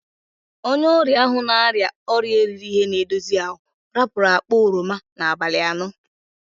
Onye oria ahu na-aria oria erighi- ihi- na-edozi ahu rapuru akpa oroma n'abali ano.